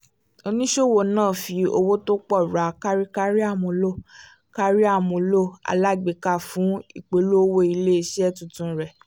oníṣòwò náà fi owó tó pọ̀ ra kárí kárí àmúlò kárí àmúlò alágbèéká fún ìpolówó ilé iṣẹ́ tuntun rẹ